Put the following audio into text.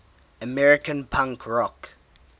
american punk rock